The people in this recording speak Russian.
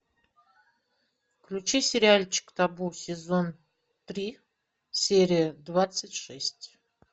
включи сериальчик табу сезон три серия двадцать шесть